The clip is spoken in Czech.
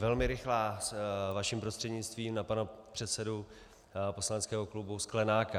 Velmi rychlá vaším prostřednictvím na pana předsedu poslaneckého klubu Sklenáka.